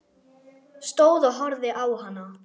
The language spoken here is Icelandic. Stóð og horfði á hana.